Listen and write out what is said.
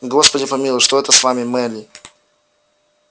господи помилуй что это с вами мелли